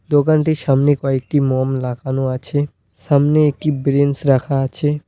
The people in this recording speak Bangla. দোকানটির সামনে কয়েকটি মোম লাগানো আছে সামনে একটি ব্রেঞ্চ রাখা আছে।